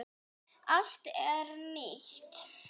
Allt er nýtt.